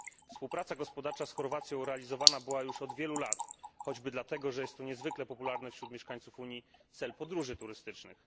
Współpraca gospodarcza z Chorwacją prowadzona była już od wielu lat, choćby dlatego, że jest to niezwykle popularny wśród mieszkańców Unii cel podróży turystycznych.